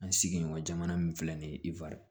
An sigiɲɔgɔn jamana min filɛ nin ye ifa